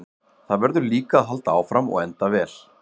Það verður líka að halda áfram og enda vel.